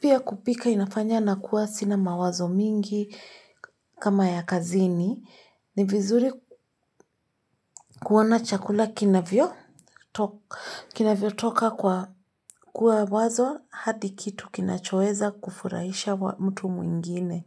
pia kupika inafanya nakuwa sina mawazo mingi kama ya kazini. Ni vizuri kuona chakula kinavyotoka kwa kuwa wazo hadi kitu kinachoweza kufurahisha mtu mwingine.